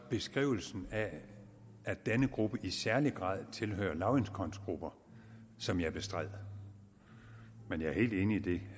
beskrivelsen af at denne gruppe i særlig grad tilhører lavindkomstgrupper som jeg bestred men jeg er helt enig i det